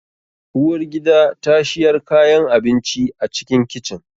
Uwar gida ta shiyar kayan abinci a cikin kicin